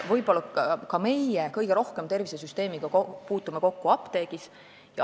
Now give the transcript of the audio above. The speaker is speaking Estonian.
Võib-olla me kõige rohkem puutumegi tervishoiusüsteemiga kokku apteegis.